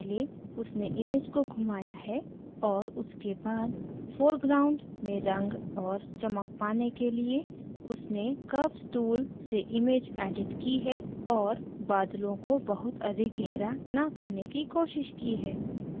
पहले उसने image को घुमाया है और उसके बाद foreground में रंग और चमक पाने के लिए उसने curves tool curves tool से image एडिट की है और बादलों को बहुत अधिक गहरा न करने की कोशिश की है